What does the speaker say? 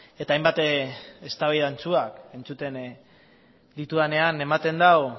eta hainbat eztabaida antzuak entzuten ditudanean ematen du